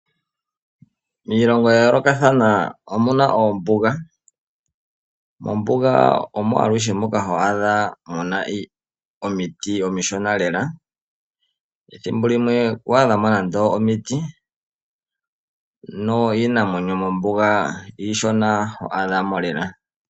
Miilongo ya yoolokathana omuna oombuga. Mombuga omo aluhe moka ho adha muna omiti omishona lela. Ethimbo limwe ku adhamo nande omiti, no iinamwenyo mombuga iishona ho adha mo lela.